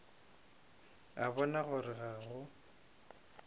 a bona gore ga go